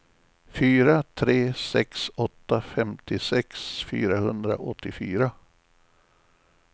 fyra tre sex åtta femtiosex fyrahundraåttiofyra